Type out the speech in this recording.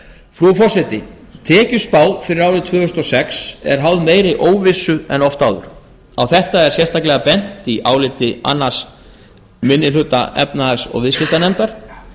frú forseti tekjuspá fyrir árið tvö þúsund og sex er háð meiri óvissu en oft áður á þetta er sérstaklega bent í áliti annar minni hluta efnahags og viðskiptanefndar